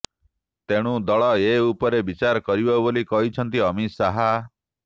ତେଣୁ ଦଳ ଏ ଉପରେ ବିଚାର କରିବ ବୋଲି କହିଛନ୍ତି ଅମିତ ଶାହା